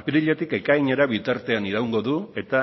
apiriletik ekainera bitartean iraungo du eta